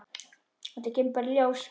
Þetta kemur bara í ljós.